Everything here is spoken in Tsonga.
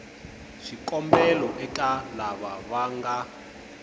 swikombelo eka lava va nga